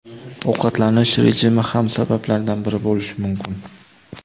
Ovqatlanish rejimi ham sabablardan biri bo‘lishi mumkin.